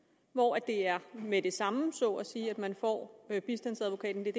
hvor det er med det samme så at sige at man får bistandsadvokaten det